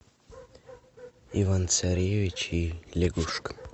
иван царевич и лягушка